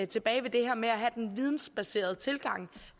tilbage ved det her med at have den vidensbaserede tilgang